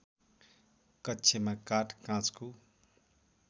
कक्षमा काठ काँचको